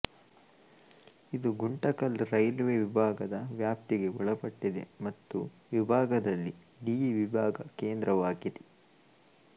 ಇದು ಗುಂಟಕಲ್ ರೈಲ್ವೆ ವಿಭಾಗದ ವ್ಯಾಪ್ತಿಗೆ ಒಳಪಟ್ಟಿದೆ ಮತ್ತು ವಿಭಾಗದಲ್ಲಿ ಡಿವಿಭಾಗದ ಕೇಂದ್ರವಾಗಿದೆ